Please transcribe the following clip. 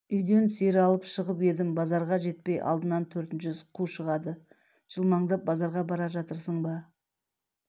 үйден сиыр алып шығып едім базарға жетпей алдынан төртінші қу шығады жылмаңдап базарға бара жатырсың ба